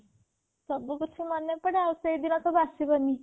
ସବୁ କିଛି ମନେ ପଡ଼େ ଆଉ ସେ ଦିନ ସବୁ ଆସିବନି